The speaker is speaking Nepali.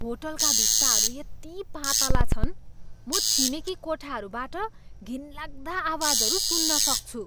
होटलका भित्ताहरू यति पातला छन्, म छिमेकी कोठाहरूबाट घिनलाग्दा आवाजहरू सुन्न सक्छु।